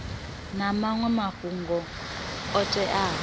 na maṅwe mafhungo o teaho